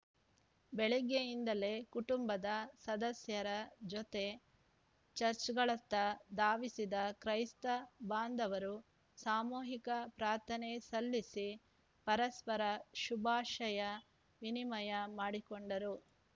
ಬೆಳಗ್ಗೆಯಿಂದಲೇ ಕುಟುಂಬದ ಸದಸ್ಯರ ಜೊತೆ ಚರ್ಚ್ ಗಳತ್ತ ಧಾವಿಸಿದ ಕ್ರೈಸ್ತ ಬಾಂಧವರು ಸಾಮೂಹಿಕ ಪ್ರಾರ್ಥನೆ ಸಲ್ಲಿಸಿ ಪರಸ್ಪರ ಶುಭಾಶಯ ವಿನಿಮಯ ಮಾಡಿಕೊಂಡರು